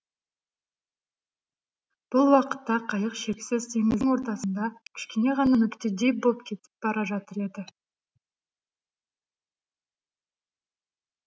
бұл уақытта қайық шексіз теңіздің ортасында кішкене ғана нүктедей боп кетіп бара жатыр еді